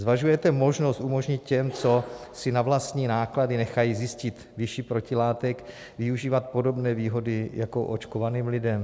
Zvažujete možnost umožnit těm, co si na vlastní náklady nechají zjistit výši protilátek, využívat podobné výhody jako očkovaným lidem?